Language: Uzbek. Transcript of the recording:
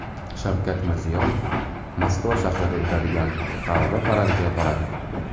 Shavkat Mirziyoyev Moskva shahrida o‘tadigan G‘alaba paradiga boradi.